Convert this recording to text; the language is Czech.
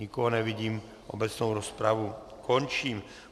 Nikoho nevidím, obecnou rozpravu končím.